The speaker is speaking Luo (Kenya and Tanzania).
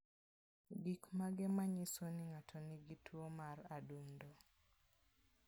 Gik mage manyiso ni ng'ato nigi tuo mar adundo?